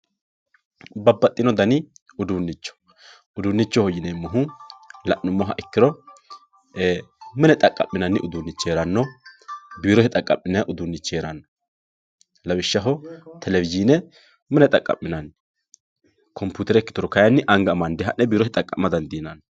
babbaxino dani uduunicho uduunichoho yineemohu la'numoha ikkiro mine xaqa'minanni uduunich heeranno biirote xaqa'minayii uuduunich heeranno lawishshaho televizhiine mine xaqqa'minanni coputere ikkituro kaayiinni anga amande ha'ne biirote xaqqa'ma dadiinanni.